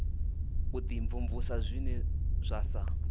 u dimvumvusa zwine zwa sa